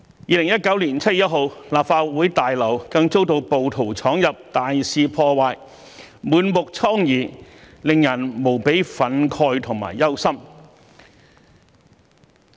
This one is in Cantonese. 2019年7月1日，立法會大樓更遭到暴徒闖入，大肆破壞，滿目瘡痍，令人無比憤慨和憂心。